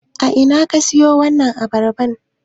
A ina ka siyo wancan abarban?